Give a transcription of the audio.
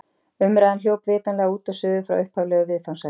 Umræðan hljóp vitanlega út og suður frá upphaflegu viðfangsefni.